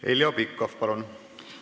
Heljo Pikhof, palun!